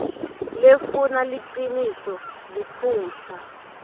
lefuna liciniso liphutsa